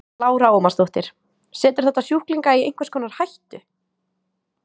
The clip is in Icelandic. Lára Ómarsdóttir: Setur þetta sjúklinga í einhvers konar hættu?